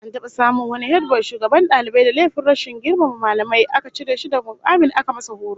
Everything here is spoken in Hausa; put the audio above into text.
An taba samun wani hediboy shugaban dalibai da laifin rashin girmama mallamai, aka cire shi daga mukamin aka masa horo